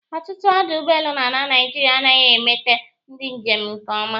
Ọtụtụ ọdụ ụgbọelu n'ala Naịjirịa anaghị emeta ndị njem nke ọma